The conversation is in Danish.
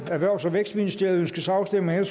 erhvervs og vækstministeriet ønskes afstemning